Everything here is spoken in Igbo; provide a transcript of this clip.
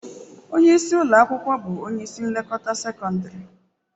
Onye isi ụlọ akwụkwọ bụ onye isi nlekọta sekọndrị.